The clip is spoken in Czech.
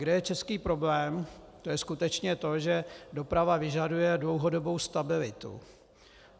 Kde je český problém, to je skutečně to, že doprava vyžaduje dlouhodobou stabilitu.